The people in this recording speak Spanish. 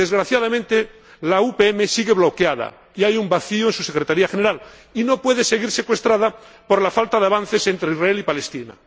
Desgraciadamente, la UPM sigue bloqueada y hay un vacío en su Secretaría General, y no puede seguir secuestrada por la falta de avances entre Israel y Palestina.